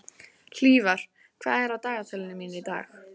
Hlífar, hvað er á dagatalinu mínu í dag?